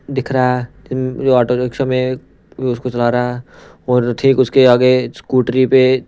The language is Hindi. दिख रहा है जो ऑटो रिक्शा उसको चला रहा है और ठीक उसके आगे स्कूटरी पे।